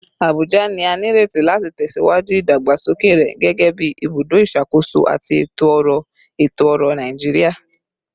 Abuja ni a nireti lati tẹsiwaju idagbasoke rẹ gẹgẹbi ibudo iṣakoso ati eto-ọrọ eto-ọrọ Naijiria